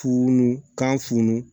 Funu kanu